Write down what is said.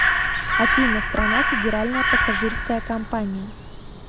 афина страна федеральная пассажирская компания